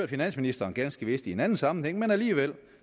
finansministeren ganske vist i en anden sammenhæng men alligevel